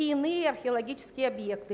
иные археологические объекты